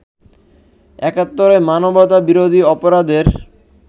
৭১’র মানবতাবিরোধী অপরাধের